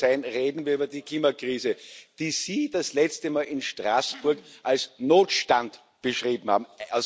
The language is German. Gut, soll sein, reden wir über die Klimakrise, die Sie das letzte Mal in Straßburg als Notstand beschrieben haben.